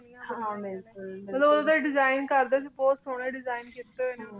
ਜਗਾ ਹਾਂ ਬਿਲਕੁਲ ਲੋਗ ਓਦੋਂ ਦੇਸਿਗਣ ਕਰਦੇ ਸੀ ਬੋਹਤ ਸੋਹਣੇ ਦੇਸਿਗਣ ਕਿਤੇ ਨੇ ਓਨਾਂ ਨੂ